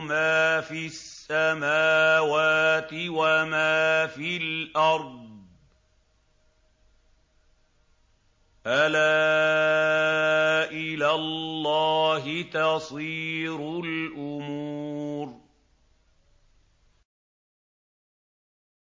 مَا فِي السَّمَاوَاتِ وَمَا فِي الْأَرْضِ ۗ أَلَا إِلَى اللَّهِ تَصِيرُ الْأُمُورُ